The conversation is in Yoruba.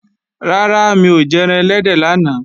Rárá, mi ò jẹran ẹlẹ́dẹ̀ lánàá